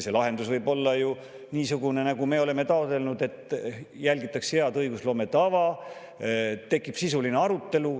See lahendus võib olla niisugune, nagu me oleme taotlenud, et järgitakse head õigusloome tava, tekib sisuline arutelu.